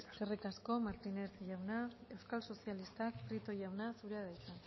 eskerrik asko martínez jauna euskal sozialistak prieto jauna zurea da hitza